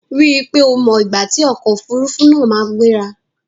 Rí i pé o mọ ìgbà tí ọkò òfurufú náà máa gbéra!